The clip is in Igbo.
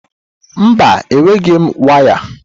Mba, enweghị m ngwa waya.